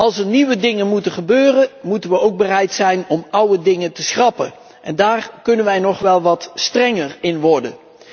Als er nieuwe dingen moeten gebeuren, moeten we ook bereid zijn om oude dingen te schrappen. Daar kunnen wij nog wel wat strenger in worden.